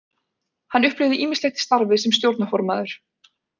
Hann upplifði ýmislegt í starfi sem stjórnarformaður.